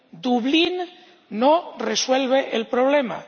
Dublín no resuelve el problema.